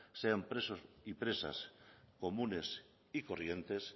sean presos y presas comunes y corrientes